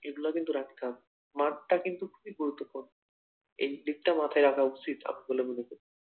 এগুলা কিন্তু রাখতে হবে, মাঠটা কিন্তু খুবই গুরুত্বপূর্ণ এদিকটা মাথায় রাখা উচিত বলে মনে করি ।